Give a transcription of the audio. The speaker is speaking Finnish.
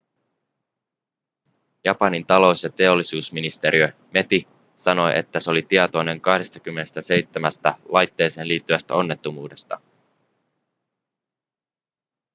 japanin talous- ja teollisuusministeriö meti sanoi että se oli tietoinen 27 laitteeseen liittyvästä onnettomuudesta